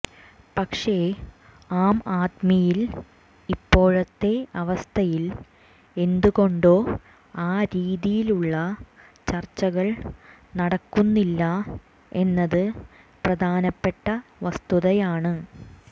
പക്ഷെ ആം ആദ്മിയിൽ ഇപ്പോഴത്തെ അവസ്ഥയിൽ എന്തുകൊണ്ടോ ആ രീതിയിലുള്ള ചർച്ചകൾ നടക്കുന്നില്ല എന്നത് പ്രധാനപ്പെട്ട വസ്തുതയാണ്